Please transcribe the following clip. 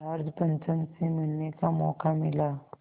George पंचम से मिलने का मौक़ा मिला